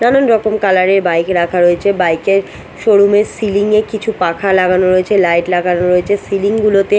নানান রকম কালার -এর বাইক রাখা রয়েচে বাইক -এ শোরুম -এর সিলিং -এ কিছু পাখা লাগানো রয়েচে লাইট লাগা রয়েচে সিলিং গুলোতে--